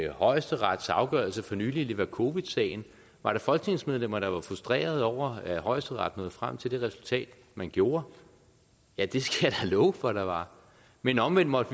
højesterets afgørelse for nylig i levakovicsagen var der folketingsmedlemmer der var frustrerede over at højesteret nåede frem til det resultat man gjorde ja det skal jeg love for der var men omvendt måtte